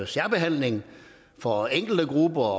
særbehandling for enkelte grupper